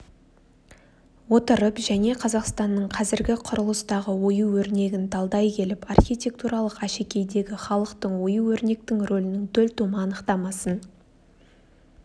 отырып және қазақстанның қазіргі құрылыстағы ою-өрнегін талдай келіп архитектуралық әшекейдегі халықтың ою-өрнектің рөлінің төлтума анықтамасын